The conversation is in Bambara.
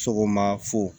Sɔgɔma fo